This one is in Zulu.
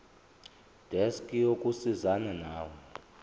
desk yokusizana nawe